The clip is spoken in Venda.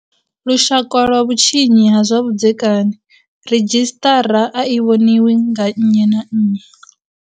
Lushaka lwa vhutshinyi ha zwa vhudzekani, Ridzhisiṱara a i vhoniwi nga nnyi na nnyi.